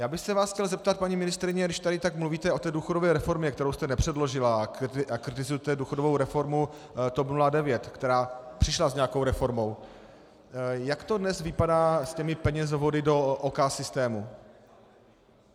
Já bych se vás chtěl zeptat, paní ministryně, když tady tak mluvíte o té důchodové reformě, kterou jste nepředložila, a kritizujete důchodovou reformu TOP 09, která přišla s nějakou reformou, jak to dnes vypadá s těmi penězovody do OK systému.